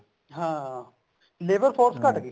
ਹਾਂ labour force ਘਟਗੀ